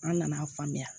An nana a faamuya